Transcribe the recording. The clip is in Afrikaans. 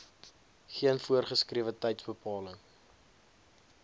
geen voorgeskrewe tydsbepaling